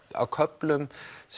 á köflum